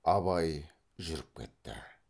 абай жүріп кетті